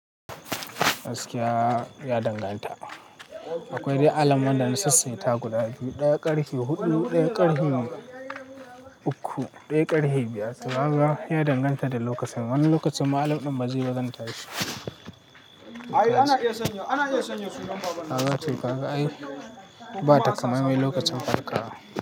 Askiya ya danganta. Akwai dai alam wanda na sassaita guda biyu, ɗaya ƙarfe huɗu, ɗaya ƙarfe uku, ɗaya ƙarfe biyar. To kaga ya danganta da lokacin. Wani lokacin ma alam ɗin bazai ba zan tashi. Ka ga ce, ka ga ai bata kamammi lokacin farkawa.